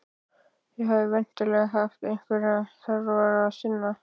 Þið hafið væntanlega haft einhverju þarfara að sinna.